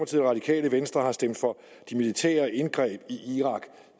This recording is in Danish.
radikale venstre har stemt for de militære indgreb i irak